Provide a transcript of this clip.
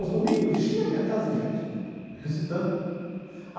Aos domingos, enchia a minha casa de gente visitando.